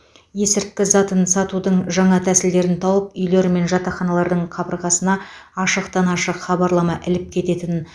есірткі затын сатудың жаңа тәсілдерін тауып үйлер мен жатақханалардың қабырғасына ашықтан ашық хабарлама іліп кететін